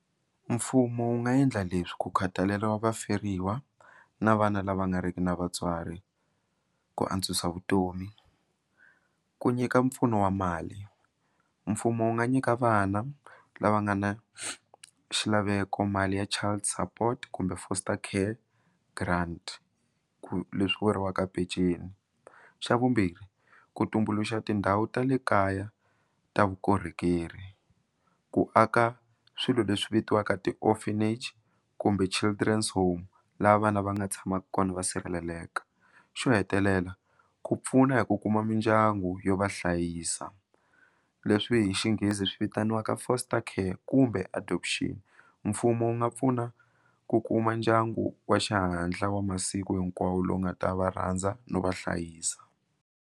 Mfumo wu nga endla leswi ku khathalela vaferiwa na vana lava nga ri ki na vatswari ku antswisa vutomi ku nyika mpfuno wa mali mfumo wu nga nyika vana lava nga na xilaveko mali ya child support kumbe foster care grant ku leswi vuriwaka peceni xa vumbirhi ku tumbuluxa tindhawu ta le kaya ta vukorhokeri ku aka swilo leswi vitiwaka ti orphanage kumbe children's home laha vana va nga tshamaka kona va sirheleleka xo hetelela ku pfuna hi ku kuma mindyangu yo va hlayisa leswi hi xinghezi swi vitaniwaka foster care kumbe adoption mfumo wu nga pfuna ku kuma ndyangu wa xihatla wa masiku hinkwawo lowu nga ta va rhandza no va hlayisa.